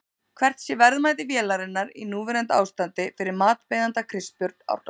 Hvert sé verðmæti vélarinnar í núverandi ástandi fyrir matsbeiðanda Kristbjörn Árnason?